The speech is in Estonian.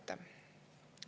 Aitäh!